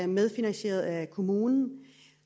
medfinansieret af kommunen